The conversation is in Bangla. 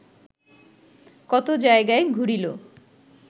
কত জায়গায় ঘুরিল